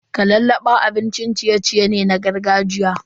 Kalallaba abin ciye-ciye ne na gargajiya.